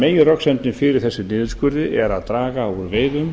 meginröksemdin fyrir þessum niðurskurði er að draga úr veiðum